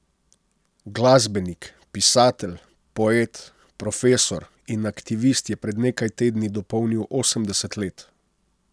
Glasbenik, pisatelj, poet, profesor in aktivist je pred nekaj tedni dopolnil osemdeset let.